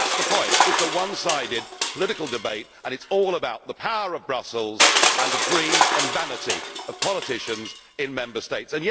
That is the point it is a one sided political debate and it is all about the power of Brussels and the greed and vanity of politicians in Member States.